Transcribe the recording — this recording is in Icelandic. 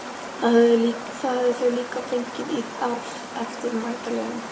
Það höfðu þau líka fengið í arf eftir Magdalenu.